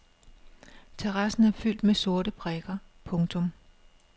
Terrassen er fyldt med sorte prikker. punktum